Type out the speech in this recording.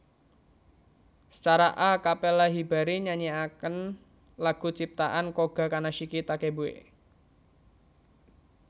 Secara a capella Hibari nyanyiaken lagu ciptaan Koga Kanashiki Takebue